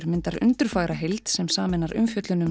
myndar undurfagra heild sem sameinar umfjöllun um